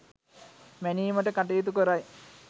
මැනීමට කටයුතු කරයි.